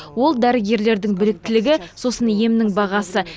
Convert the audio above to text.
ол дәрігерлердің біліктілігі сосын емнің бағасы